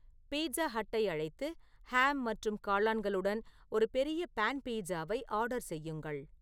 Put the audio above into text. pizza ஹட்டை அழைத்து ham மற்றும் காளான்களுடன் ஒரு பெரிய பான் பீட்சாவை ஆர்டர் செய்யுங்கள்